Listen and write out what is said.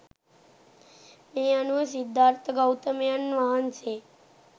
මේ අනුව සිද්ධාර්ථ ගෞතමයන් වහන්සේ